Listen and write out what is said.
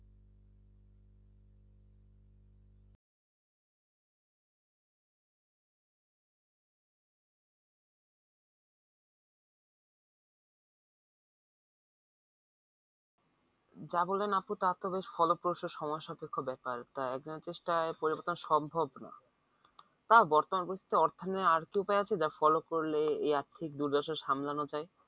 যা বলেন আপু তা তো বেশ follow করতে সময় সাপেক্ষ ব্যাপার, তা একজনের চেষ্টায় পরিবর্তন সম্ভব নয় তা বর্তমান অর্থ নিয়ে আর কি উপায় আছে যা follow আর্থিক দুর্দশা সামলানো যায়